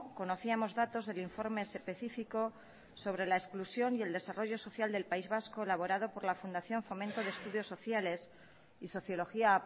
conocíamos datos del informe específico sobre la exclusión y el desarrollo social del país vasco elaborado por la fundación fomento de estudios sociales y sociología